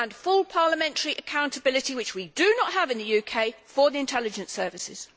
and full parliamentary accountability which we do not have in the UK for the intelligence services.